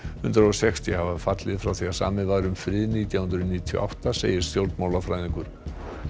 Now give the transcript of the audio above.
hundrað og sextíu hafa fallið frá því samið var um frið nítján hundruð níutíu og átta segir stjórnmálafræðingur